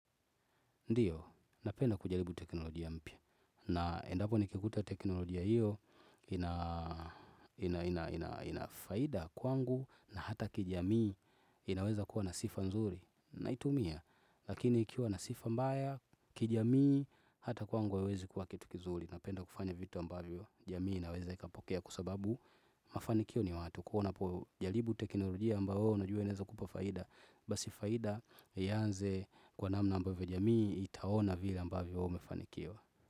Ndiyo, napenda kujaribu teknolojia mpya. Na endapo ni kikuta teknolojia hiyo, inafaida kwangu na hata kijamii inaweza kuwa nasifa nzuri. Naitumia, lakini ikiwa nasifa mbaya kijamii hata kwangu haiwezi kuwa kitu kizuri. Napenda kufanya vitu ambavyo jamii inaweza ikapokea kwa sababu mafanikio ni watu. Kuwavna po jaribu teknolojia ambayo na jua inaweza kupa faida. Basi faida ianze kwa namna ambavyo jamii itaona vila ambavyo wewe umefanikiwa.